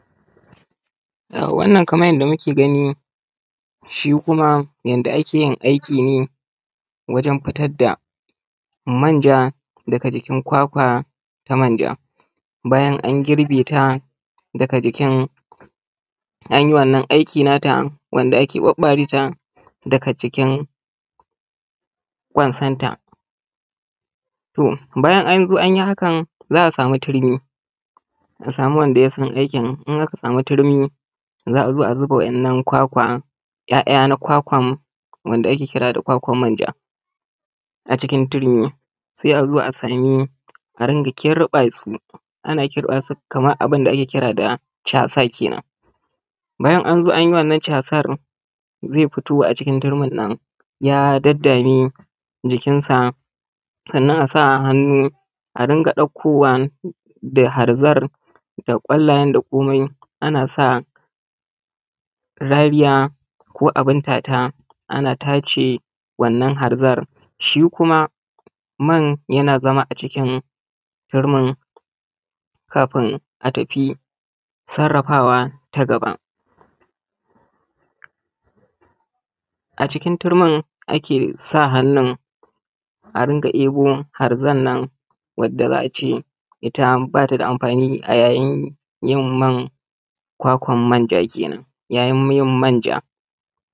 Wannan kuma kamar yadda muke gani shi kuma yanda ake yin aiki ne wajan fitar da manja daga jikin kwakwa na manja bayan an girbe ta daga jikin, an yi wannan aiki nata wanda ake ɓaɓɓare ta daga jikin ƙwansanta. To bayan an zo an yi hakan za a samu turmi, a samu wanda ya san aikin, in aka samu turmi za a zo a zuba wa'innan kwakwan, 'ya'ya na kwakwan wanda ake kira da kwakwan manja a cikin turmi, sai a zo a samu a rinƙa kirɓa su ana kirɓa su kaman abun da ake kira da casa kenan. Bayan an zo an yi wannan casar zai fito a cikin turmin nan ya daddame jikin sa, sannan a sa hannu a rinƙa ɗaukowa da harzar da ƙwallayen da komai ana sa rariya ko abun tata ana tace wannan harzar. Shi kuma man yana zama a cikin turmin kafin a tafi sarrafawa ta gaba. A cikin turmin a kesa hannun a rinƙa ɗebo harzar nan wanda za a ce ita ba ta da amfani a yayin yin man kwakwan manja kenan, yayin yin manja.